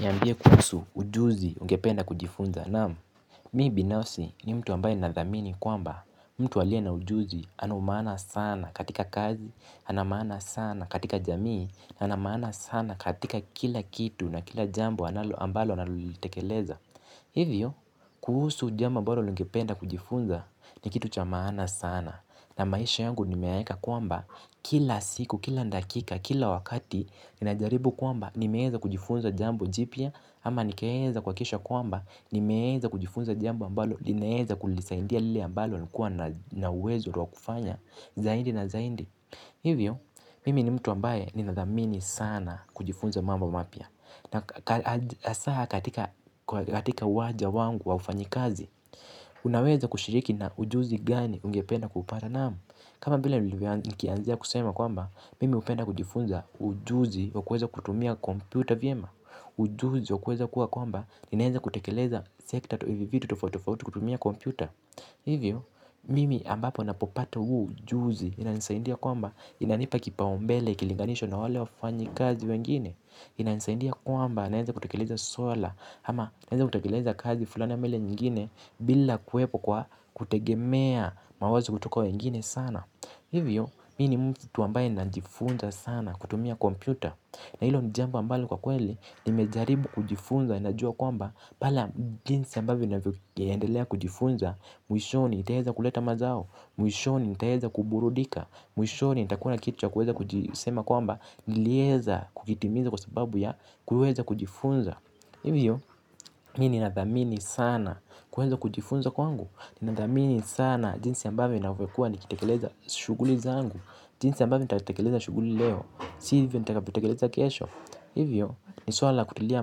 Niambie kuhusu ujuzi ungependa kujifunza naam mi binafsi ni mtu ambaye nadhamini kwamba mtu wliye na ujuzi ana umaana sana katika kazi, ana maana sana katika jamii, ana maana sana katika kila kitu na kila jambo ambalo analolitekeleza. Hivyo, kuhusu jambo ambalo lingependa kujifunza ni kitu cha maana sana. Na maisha yangu nimeyaeka kwamba kila siku, kila dakika, kila wakati. Ninajaribu kwamba nimeeza kujifunza jambo jipya. Ama nikaeza kuhakisha kwamba nimeeza kujifunza jambo ambalo ninaeza kulisaindia lile ambalo nikuwa na uwezo rwa kufanya zaindi na zaindi. Hivyo, mimi ni mtu ambaye ninadhamini sana kujifunza mambo mapya. Na asaha katika waja wangu wa ufanyi kazi. Unaweza kushiriki na ujuzi gani ungependa kupata naamu. Kama vile nikianzia kusema kwamba mimi hupenda kujifunza ujuzi wa kuweza kutumia kompyuta vyema. Ujuzi wa kuweza kuwa kwamba inaeza kutekeleza sekta toi vivitu tofautitofauti kutumia kompyuta. Hivyo, mimi ambapo napopata huu ujuzi inanisaindia kwamba inanipa kipaombele kilinganishwa na wale wafanyikazi wengine. Inainsaindia kwamba naeza kutekeleza suala. Hama naeza kutekeleza kazi fulana ama ile nyingine. Bila kuwepo kwa kutegemea mawazi kutoka wa nyingine sana. Hivyo, mi ni mtu ambaye na njifunza sana kutumia kompyuta. Na hilo ni jambu ambalo kwa kweli nimezaribu kujifunza, inajua kwamba pala jinsi ambavyo nafyo yaendelea kujifunza. Mwishoni itaeza kuleta mazao. Mwishoni itaeza kuburudika. Mwishoni itakuwa kitu ya kuweza kujisema kwamba nilieza kukitimiza kwa sababu ya kuweza kujifunza hivyo mi ninadhamini sana kuweza kujifunza kwangu ninadhamini sana jinsi ambavyo ninawekwa nikitekeleza shuguli zangu jinsi ambave nitakitekeleza shuguli leo si hivyo nitakavyotekeleza kesho hivyo ni suala la kutilia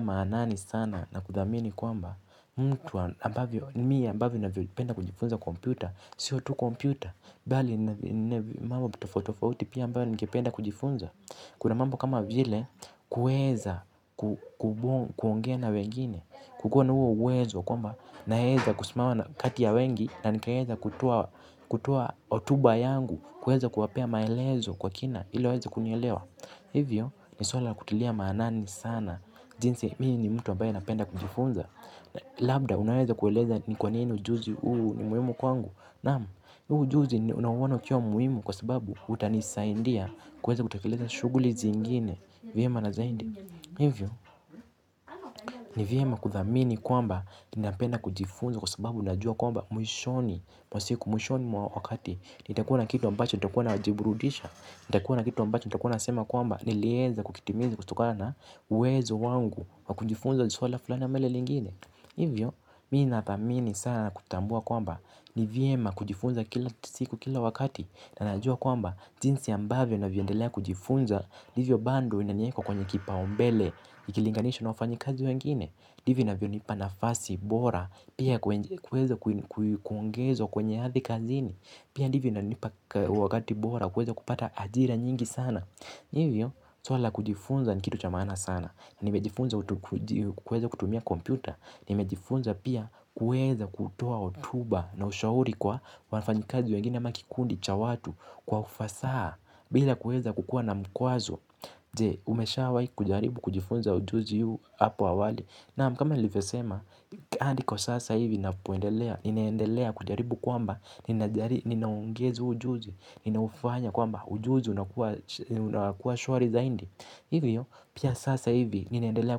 maanani sana na kudhamini kwamba mtu ambavyo nimi ambavyo ninawekua kujifunza kompyuta sio tu kompyuta bali mambo tofautitofauti pia ambauo ningependa kujifunza. Kuna mambo kama vile kueza kuongea na wengine. Kukona huo uwezo kwamba naeza kusimama na kati ya wengi. Na nikaeza kutoa hotuba yangu kueza kuwapea maelezo kwa kina ili waweze kunielewa. Hivyo ni suala la kutilia maanani sana. Jinsi mi ni mtu abaye napenda kujifunza. Labda unaweza kueleza ni kwa nini ujuzi huu ni muhimu kwangu. Naam huu ujuzi unauona ukiwa muhimu kwa sababu utanisaindia. Kuweza kutekeleza shughuli zingine vyema na zaindi. Hivyo ni vyema kudhamini kwamba ninapenda kujifunza kwa sababu najua kwamba mwishoni mwishoni mwa wakati itakuwa na kitu ambacho nitakuwa najiburudisha nitakuwa na kitu ambacho nitakuwa nasema kwamba nileeza kukitimiza kutokana na uwezo wangu wa kujifunza jiswala fulani ama ile lingine. Hivyo mi nathamini sana na kutambua kwamba ni vyema kujifunza kila siku kila wakati. Na najua kwamba jinsi ambavyo navyoendelea kujifunza ndivyo bando inanieka kwenye kipaombele ikilinganisha na wafanyikazi wengine ndivyo inavyonipa nafasi bora. Pia kweza kuongezwa kwenye hadhi kazini. Pia ndivyo inanipa wakati bora. Kuweza kupata ajira nyingi sana hivyo suala la kujifunza ni kitu cha maana sana. Nimejifunza kuweza kutumia kompyuta. Nimejifunza pia kuweza kutia hotuba na ushauri kwa wafanyikazi wengine ama kikundi cha watu. Kwa ufasaha, bila kuweza kukua na mkwazo. Je, umeshawahi kujaribu kujifunza ujuzi huu hapo awali. Naam kama nilivyosema, hadi kwa sasa hivi napoendelea ninaendelea kujaribu kwamba, ninaungeza ujuzi. Ninaufanya kwamba ujuzi unakuwa shwari zaindi. Hivyo, pia sasa hivi, ninaendelea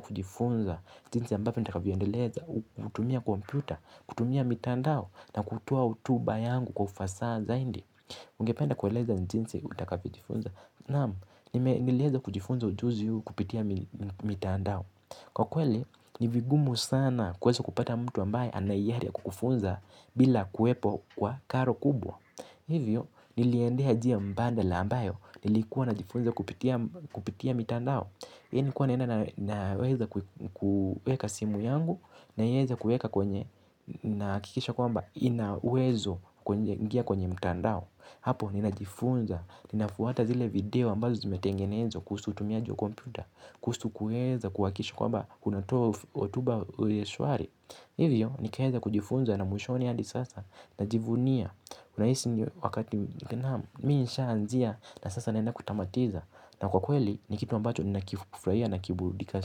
kujifunza jinzi ambavyo nitakavyoendeleza, kutumia kompyuta, kutumia mitandao. Na kutoa hotuba yangu kwa ufasaa zaindi. Ungependa kueleza ni jinsi utakavyojifunza. Naam, nilieza kujifunza ujuzi huu kupitia mitandao. Kwa kweli, ni vigumu sana kuweza kupata mtu ambaye ana hiari ya kukufunza bila kuwepo kwa karo kubwa. Hivyo, niliendea jia mbadala ambayo nilikuwa najifunza kupitia mitandao. Hi ni kuwa naenda naweza kueka simu yangu naweza kueka kwenye nahakikisha kwamba inaweza kwenye ingia kwenye mtandao. Hapo ninajifunza, ninafuwata zile video ambazo zimetengenezwa kuhusu utumiaji wa kompyuta, kuhusu kueza kuhakisha kwamba kunatoa hotuba uye shwari. Hivyo nikaeza kujifunza na mwishoni hadi sasa najivunia, unahisi wakati mi nishaanzia na sasa naenda kutamatiza Na kwa kweli ni kitu ambacho ninakifufrahia na kiburudikasi.